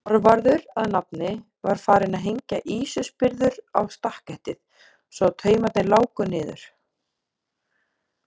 Þorvarður að nafni, var farinn að hengja ýsuspyrður á stakketið svo að taumarnir láku niður.